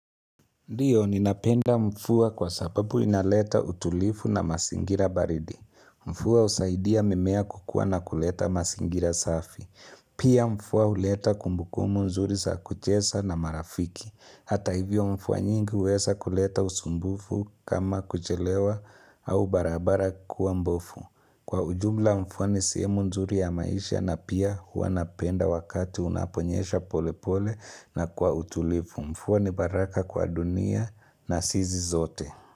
Ndio, ninapenda mvua kwa sababu inaleta utulivu na mazingira baridi. Mvua husaidia mimea kukua na kuleta mazingira safi. Pia mvua huleta kumbukumu nzuri za kucheza na marafiki. Hata hivyo mvua nyingi huweza kuleta usumbufu kama kuchelewa au barabara kuwa mbofu. Kwa ujumla mvua ni sehemu nzuri ya maisha na pia huwanapenda wakati unaponyesha pole pole na kwa utulivu. Mvua ni baraka kwa dunia na sisi sote.